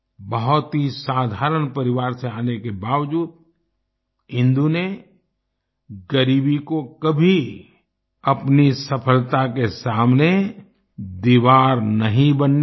बहुत ही साधारण परिवार से आने के बावजूद इंदु ने गरीबी को कभी अपनी सफलता के सामने दीवार नहीं बनने दिया